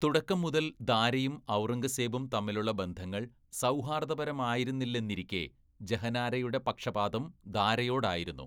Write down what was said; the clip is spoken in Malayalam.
തുടക്കം മുതൽ ദാരയും ഔറംഗസേബും തമ്മിലുള്ള ബന്ധങ്ങൾ സൗഹാർദ്ദപരമായിരുന്നില്ലെന്നിരിക്കെ, ജഹനാരയുടെ പക്ഷപാതം ദാരയോടായിരുന്നു.